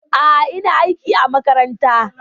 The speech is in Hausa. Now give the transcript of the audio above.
A'a, ina aiki a makaranta.